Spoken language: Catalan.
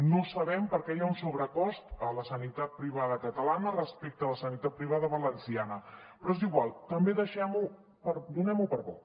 no sabem perquè hi ha un sobrecost a la sanitat privada catalana respecte a la sanitat privada valenciana però és igual també donem ho per bo